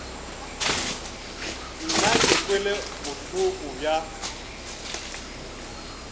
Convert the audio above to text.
nna ke kwele bohloko bja